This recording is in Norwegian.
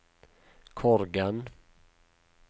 Korgen